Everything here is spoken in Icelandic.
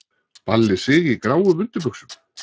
Balli Sig í gráum undirbuxum!!!